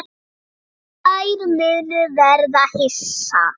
Þær munu verða hissa.